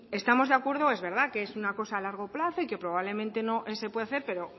estamos de acuerdo es verdad que es una cosa a largo plazo y que probablemente no se puede hacer pero